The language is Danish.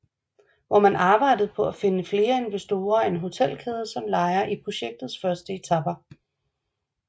Hvor man arbejdede på at finde flere investorer og en hotelkæde som lejer i projektets første etape